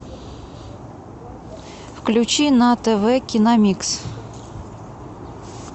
включи на тв киномикс